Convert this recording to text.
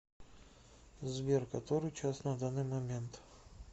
сбер который час на данный момент